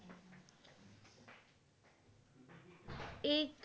এ